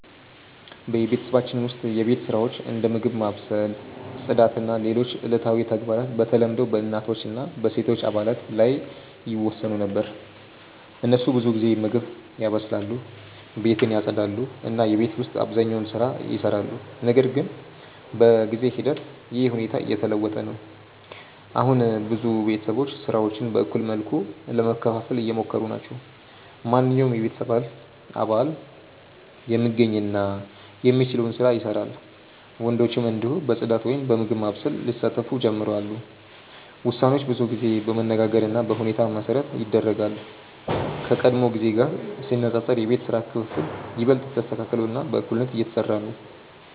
በቤተሰባችን ውስጥ የቤት ስራዎች እንደ ምግብ ማብሰል፣ ጽዳት እና ሌሎች ዕለታዊ ተግባራት በተለምዶ በእናቶች እና በሴቶች አባላት ላይ ይወሰኑ ነበር። እነሱ ብዙ ጊዜ ምግብ ያበስላሉ፣ ቤትን ያጽዳሉ እና የቤት ውስጥ አብዛኛውን ስራ ይሰራሉ። ነገር ግን በጊዜ ሂደት ይህ ሁኔታ እየተለወጠ ነው። አሁን ብዙ ቤተሰቦች ስራዎችን በእኩል መልኩ ለመከፋፈል እየሞከሩ ናቸው። ማንኛውም የቤተሰብ አባል የሚገኝ እና የሚችለውን ስራ ይሰራል፣ ወንዶችም እንዲሁ በጽዳት ወይም በምግብ ማብሰል ሊሳተፉ ጀምረዋል። ውሳኔዎች ብዙ ጊዜ በመነጋገር እና በሁኔታ መሠረት ይደረጋሉ፣ ከቀድሞ ጊዜ ጋር ሲነጻጸር የቤት ስራ ክፍፍል ይበልጥ ተስተካክሎ እና በእኩልነት እየተሰራ ነው።